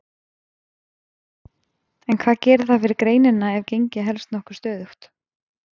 En hvað gerir það fyrir greinina ef gengið helst nokkuð stöðugt?